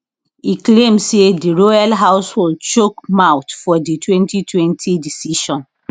e claim say di royal household chook mouth for di 2020 decision